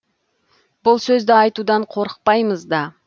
бұл сөзді айтудан қорықпаймыз да